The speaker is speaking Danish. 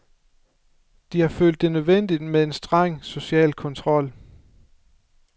De har følt det nødvendigt med en streng social kontrol.